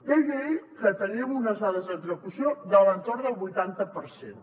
deia ell que teníem unes dades d’execució de l’entorn del vuitanta per cent